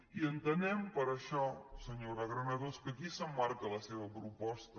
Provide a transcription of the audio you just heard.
i entenem per això senyora granados que aquí s’emmarca la seva proposta